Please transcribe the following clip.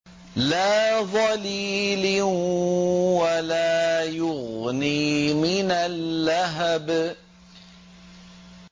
لَّا ظَلِيلٍ وَلَا يُغْنِي مِنَ اللَّهَبِ